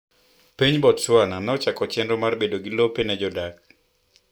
Piny Botswana nochako chenro mag bedo gi lope ne jodak.